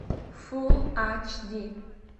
фул ач ди